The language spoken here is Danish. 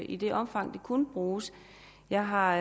i det omfang det kunne bruges jeg har